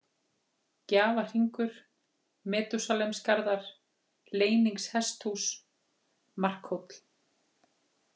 Gjafahringur, Metúsalemsgarðar, Leyningshesthús, Markhóll